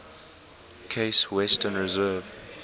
case western reserve